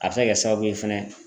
A bɛ se ka kɛ sababu ye fɛnɛ.